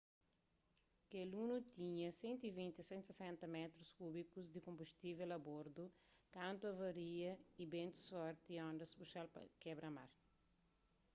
kel luno tinha 120--160 métrus kúbikus di konbustível a bordu kantu avaria y bentus forti y ondas puxa-l pa kebra-mar